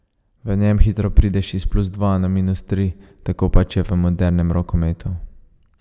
V njem hitro prideš iz plus dva na minus tri, tako pač je v modernem rokometu.